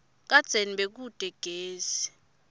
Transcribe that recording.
kadzeni bekute gesi